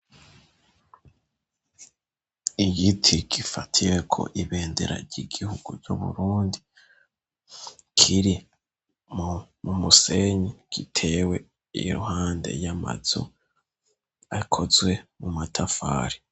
Igiti gifatiwe ko ibendera ry'igihugu ry'Uburundi kiri mu musenyi gitewe iruhande y'amazu akozwe mu matafari.